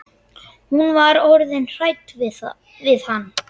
Hún var orðin hrædd við hann.